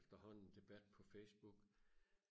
efterhånden debat på Facebook